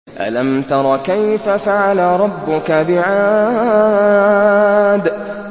أَلَمْ تَرَ كَيْفَ فَعَلَ رَبُّكَ بِعَادٍ